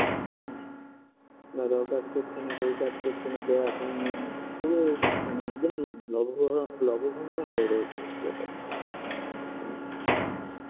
হুম বাবাও কাজ করছে না কেউ কাজ করছে না তো এখন পুরো মানে একদম লবো‌ঘ লব ঘন্টা হয়ে রয়েছে ব্যাপারটা হুম হ্যাঁ